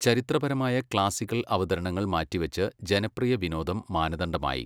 ചരിത്രപരമായ ക്ലാസിക്കൽ അവതരണങ്ങൾ മാറ്റിവച്ച്, ജനപ്രിയ വിനോദം മാനദണ്ഡമായി.